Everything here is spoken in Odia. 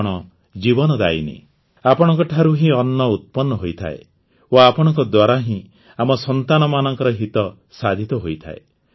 ଆପଣ ଜୀବନଦାୟିନୀ ଆପଣଙ୍କ ଠାରୁ ହିଁ ଅନ୍ନ ଉତ୍ପନ୍ନ ହୋଇଥାଏ ଓ ଆପଣଙ୍କ ଦ୍ୱାରା ହିଁ ଆମ ସନ୍ତାନମାନଙ୍କ ହିତ ସାଧିତ ହୋଇଥାଏ